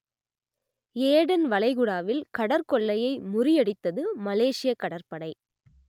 Aden வளைகுடாவில் கடற்கொள்ளையை முறியடித்தது மலேஷியக் கடற்படை